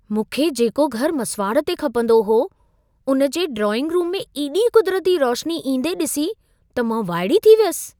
मूंखे जेको घर मसुवाड़ ते खपंदो हो, उन जे ड्राइंग-रूम में एॾी कुदिरती रोशनी ईंदे ॾिसी त मां वाइड़ी थी वियसि।